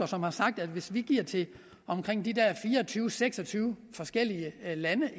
som har sagt at hvis vi giver til omkring de der fire og tyve til seks og tyve forskellige lande